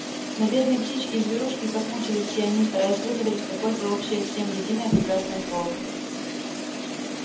но бедные птички и зверушки как мучились все они стараясь выговорить какое-то общее всем единое прекрасное слово